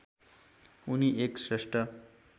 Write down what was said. उनी एक श्रेष्ठ